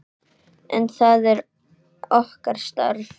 En það er okkar starf.